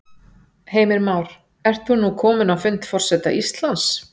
Heimir Már: Ert þú nú kominn á fund forseta Íslands?